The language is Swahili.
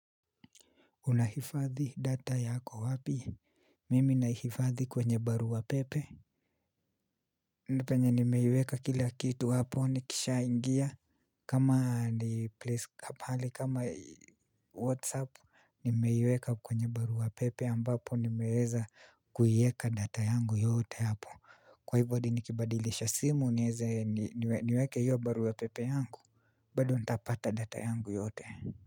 Unahifadhi data yako wapi? Mimi nahifadhi kwenye barua pepe. Ni penye nimeiweka kila kitu hapo nikisha ingia kama ni pahali kama whatsapp nimeiweka kwenye barua wapepe ambapo nimeweza kuiweka data yangu yote hapo. Kwa hivyo hadi nikibadilisha simu nieze niweke hiyo barua pepe yangu bado nitapata data yangu yote.